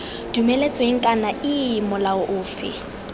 dumeletsweng kana iii molao ofe